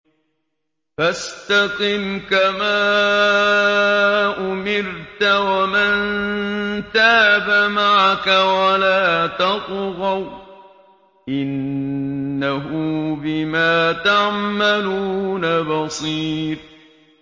فَاسْتَقِمْ كَمَا أُمِرْتَ وَمَن تَابَ مَعَكَ وَلَا تَطْغَوْا ۚ إِنَّهُ بِمَا تَعْمَلُونَ بَصِيرٌ